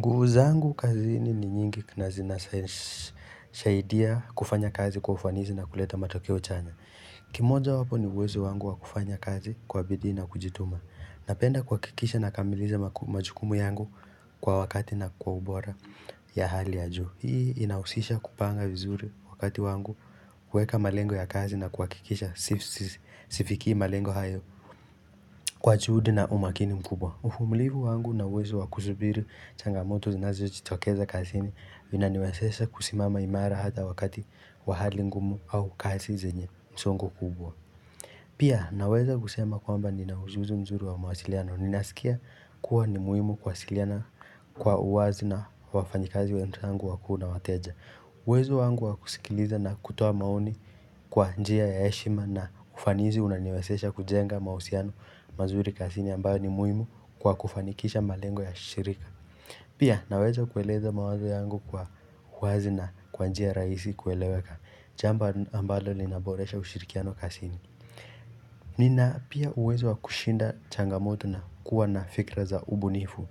Nguvu zangu kazini ni nyingi na zinasahidia kufanya kazi kwa ufanisi na kuleta matokeo chanya. Kimoja wapo ni uwezo wangu wa kufanya kazi kwa bidii na kujituma. Napenda kuhakikisha na kamiliza majukumu yangu kwa wakati na kwa ubora ya hali ya juu. Hii inahusisha kupanga vizuri wakati wangu kuweka malengo ya kazi na kuhakikisha sifikii malengo hayo Kwa juhudi na umakini mkubwa. Uvumilivu wangu na uwezo wakusubiri changamoto zinazio jitokeza kazini vinaniwezesha kusimama imara hata wakati wahali ngumu au kazi zenye msongo kubwa. Pia naweza kusema kwamba ninaujuzi mzuri wa mawasiliano. Ninasikia kuwa ni muhimu kuwasiliana kwa uwazi na wafanyikazi wenzangu wakuu na wateja. Uwezo wangu wakusikiliza na kutoa maoni kwa njia ya heshima na ufanizi unaniwezesha kujenga mahusiano mazuri kazini ambayo ni muhimu kwa kufanikisha malengo ya shirika. Pia naweza kueleza mawazo yangu kwa uwazi na kwa njia rahisi kueleweka. Jambo ambalo linaboresha ushirikiano kazini. Nina pia uwezo wa kushinda changamoto na kuwa na fikra za ubu nifu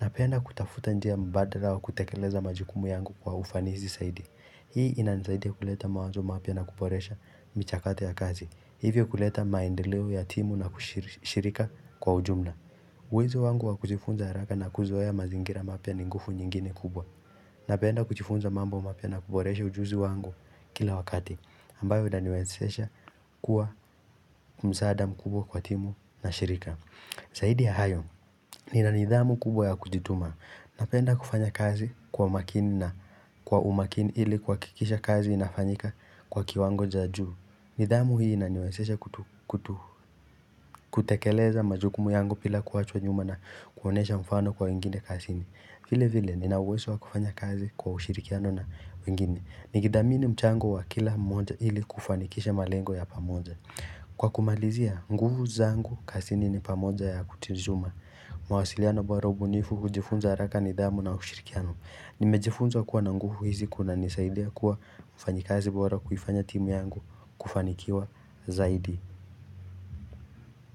na penda kutafuta njia mbadala wa kutekeleza majukumu yangu kwa ufanizi saidi. Hii inanisaidia kuleta mawazo mapya na kuboresha michakato ya kazi. Hivyo kuleta maendeleo ya timu na kushirika kwa ujumla. Uwezo wangu wakujifunza haraka na kuzoea mazingira mapya ninguvu nyingine kubwa. Napenda kujifunza mambo mapya na kuboresha ujuzi wangu kila wakati. Ambayo inaniwezesha kuwa msaada mkubwa kwa timu na shirika. Zaidia ya hayo. Ninanidhamu kubwa ya kujituma. Napenda kufanya kazi kwa umakini na kwa umakini ili kuhakikisha kazi inafanyika kwa kiwango cha juu nidhamu hii inaniwesesha kutekeleza majukumu yangu bila kuachwa nyuma na kuonyesha mfano kwa wengine kazini vile vile ni na uwezo wa kufanya kazi kwa ushirikiano na wengine Nikidhamini mchango wa kila mmoja ili kufanikisha malengo ya pamoja Kwa kumalizia, nguvu zangu kazini ni pamoja ya kutijuma mawasiliano bora ubunifu kujifunza haraka ni dhamu na hushirikiano Nimejifunza kuwa na nguvu hizi kuna nisaidia kuwa mfanyikazi bora kuifanya timu yangu kufanikiwa zaidi.